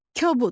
Kobud.